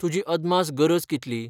तुजी अदमास गरज कितली?